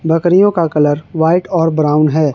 बकरियों का colour white और ब्राउन है।